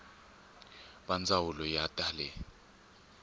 va ndzawulo ya ta le